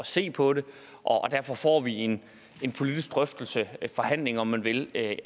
se på det og derfor får vi en politisk drøftelse en forhandling om man vil af